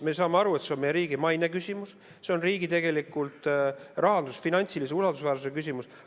Me saame aru, et see on meie riigi maine küsimus, see on tegelikult riigi rahanduse ja finantsilise usaldusväärsuse küsimus.